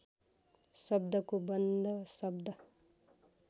शब्दको बन्ध शब्द